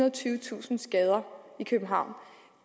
og tyvetusind skader i københavn